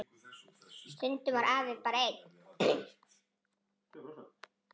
Stundum var afi bara einn.